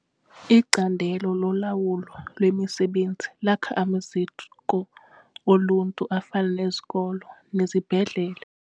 Icandelo lolawulo lwemisebenzi lakha amaziko oluntu afana nezikolo nezibhedlele.